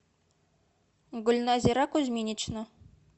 гульназира кузьминична